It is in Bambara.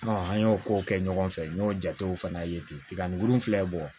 an y'o ko kɛ ɲɔgɔn fɛ n y'o jatew fana ye ten tiga nin filɛ bɔn